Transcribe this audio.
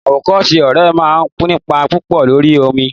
Awokose ọ̀rẹ́ máa ń nípa púpò lórí ọmọ.